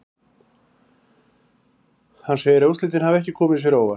Hann segir að úrslitin hafi ekki komið sér á óvart.